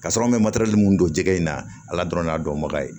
Ka sɔrɔ an bɛ matɛrɛli minnu don jɛgɛ in na ala dɔrɔn n'a dɔnbaga ye